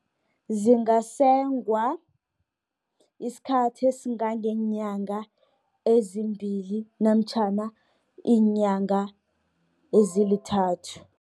Zingasengwa isikhathi esingangeenyanga ezimbili, namtjhana iinyanga ezilithathu